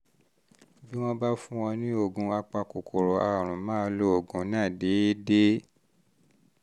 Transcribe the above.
bí wọ́n bá fún ọ ní oògùn apakòkòrò àrùn máa lo oògùn náà déédé